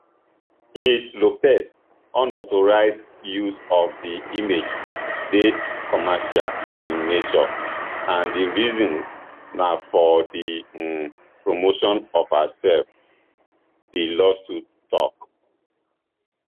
ms lopez unauthorised use of di images dey commercial in nature and di reason na for di um promotion of hersef di lawsuits tok